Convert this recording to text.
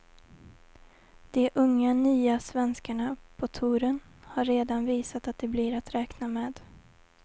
De unga, nya svenskarna på touren har redan visat att de blir att räkna med.